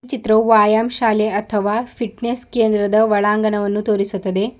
ಈ ಚಿತ್ರವು ವ್ಯಾಯಾಮ್ ಶಾಲೆ ಅಥವಾ ಫಿಟ್ನೆಸ್ ಕೇಂದ್ರದ ಒಳಾಂಗಣವನ್ನು ತೋರಿಸುತ್ತದೆ.